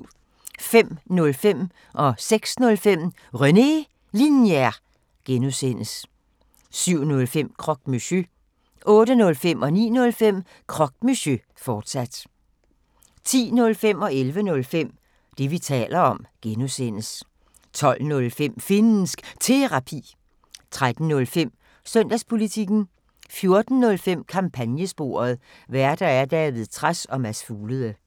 05:05: René Linjer (G) 06:05: René Linjer (G) 07:05: Croque Monsieur 08:05: Croque Monsieur, fortsat 09:05: Croque Monsieur, fortsat 10:05: Det, vi taler om (G) 11:05: Det, vi taler om (G) 12:05: Finnsk Terapi 13:05: Søndagspolitikken 14:05: Kampagnesporet: Værter: David Trads og Mads Fuglede